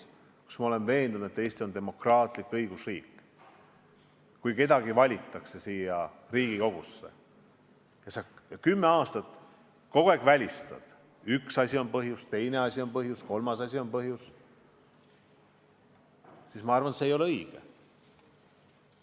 Ma olen veendunud, et Eesti on demokraatlik õigusriik, aga kui kedagi valitakse siia Riigikogusse ja kümme aastat kogu aeg välistatakse mõne erakonna kuulumine valitsusse – üks asi on põhjus, teine asi on põhjus, kolmas asi on põhjus –, siis minu arvates see ei ole õige.